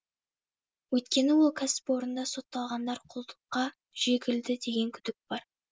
өйткені ол кәсіпорында сотталғандар құлдыққа жегілді деген күдік бар